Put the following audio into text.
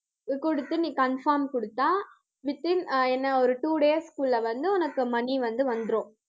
குடுத்து, நீ confirm குடுத்தா within அஹ் என்ன ஒரு two days க்குள்ள வந்து உனக்கு money வந்து வந்துரும்.